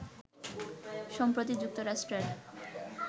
সম্প্রতি যুক্তরাষ্ট্রের